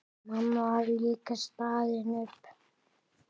Mamma var líka staðin upp.